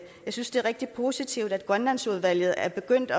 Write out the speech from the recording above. synes det er rigtig positivt at grønlandsudvalget er begyndt